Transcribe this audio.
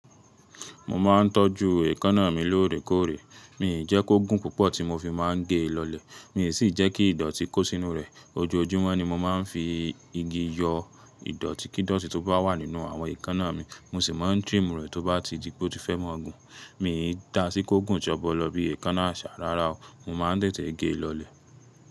Mo ma ńtọ̀ju èékánná mi lóòrèkóòrè. Mii n jẹ́ kó gùn púpọ̀ ti mo fi máa ń gè ẹ́ lọlẹ̀. Mi ò sì jẹ́ kí ìdọ̀tí kó sínú rẹ̀. Ojoojúmọ́ ni mo máa ń fi igi yọ ìdọ̀tí kí dọ̀tí tó bá wà nínú àwọn èékánná mi. Mo sì máa ń trim rẹ̀ tó bá ti di pé ó ti fẹ́ mọ́ gùn. Mi e dá sí kó gùn ṣọ́bọlọ̀ bí èékánnà àṣà rárá o. Mo máa ń tẹ̀tẹ̀ gè lọlẹ̀.